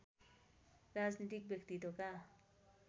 राजनीतिक व्यक्तित्वका